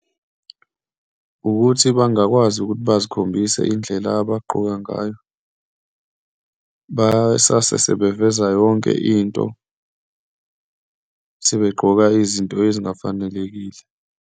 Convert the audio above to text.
Ukuthi bangakwazi ukuthi bazikhombise indlela abaqoka ngayo, basase sebeveza yonke into, sebegqoka izinto ezingafanelekile.